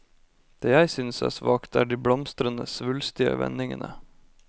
Det jeg synes er svakt, er de blomstrende, svulstige vendingene.